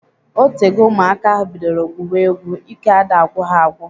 Otego ụmụaka ahụ bidoro gwuwe egwu. Ike ada agwụ ha agwụ